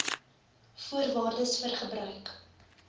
voorwaardes vir gebruik